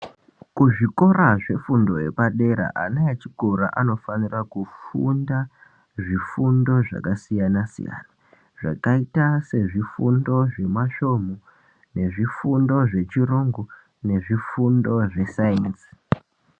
Kuzvikora zvefundo yepadera ana echikora anofanira kufunda zvifundo zvakasiyana siyana zvakaita sezvifundo zvemasvomhu nezvifundo zveyungu nezvifundo zvesayenzi.